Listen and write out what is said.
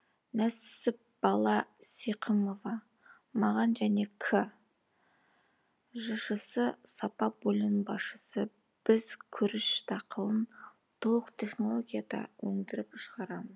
нәсіпбала сиқымова мағжан және к жшс сапа бөлімінің басшысы біз күріш дақылын толық технологияда өңд іріп шығарамыз